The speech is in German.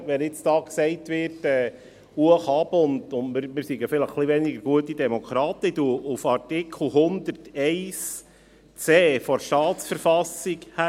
Wenn hier nun gesagt wird, es gehe dann hoch und runter und wir seien vielleicht ein bisschen weniger gute Demokraten, so weise ich auf den Artikel 101c der Staatsverfassung hin.